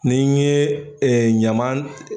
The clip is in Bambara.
N'i n ye ɛ ɲaman